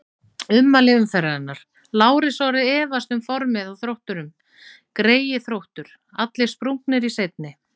Ummæli umferðarinnar: Lárus Orri efast um formið á Þrótturum Greyið Þróttur, allir sprungnir í seinni.